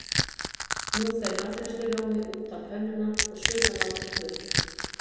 Nú fer matreiðslurjómi út á pönnuna og suðan látin koma upp.